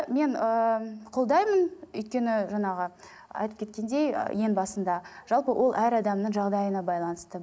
мен ііі қолдаймын өйткені жаңағы айтып кеткендей ең басында жалпы ол әр адамның жағдайына байланысты